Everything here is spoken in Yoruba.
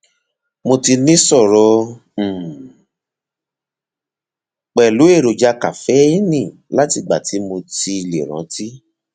mo ti níṣòro um pẹlú èròjà kaféènì látìgbà tí mo ti lè rántí